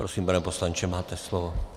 Prosím, pane poslanče, máte slovo.